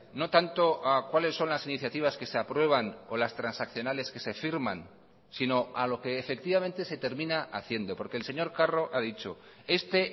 no tanto a cuáles son las iniciativas que se aprueban o las transaccionales que se firman si no a lo que efectivamente se termina haciendo porque el señor carro ha dicho este